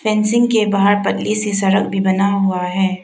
Fencing के बाहर पतली सी सड़क भी बना हुआ है।